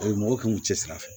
mɔgɔw kan k'u cɛsiri a fɛ